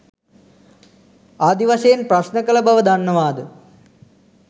ආදි වශයෙන් ප්‍රශ්න කල බව දන්නවාද.